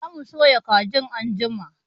Za mu soya kajin anjima